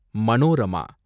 Manorama